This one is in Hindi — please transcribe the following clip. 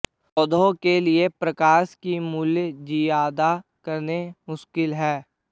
पौधों के लिए प्रकाश की मूल्य जिआदा करना मुश्किल है